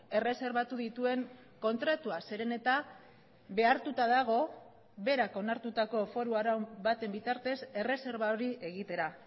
erreserbatu dituen kontratua zeren eta behartuta dago berak onartutako foru arau baten bitartez erreserba hori egitera